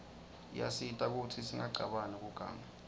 iyasita kutsi singacabani kuganga